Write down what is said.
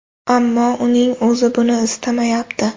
Ammo uning o‘zi buni istamayapti.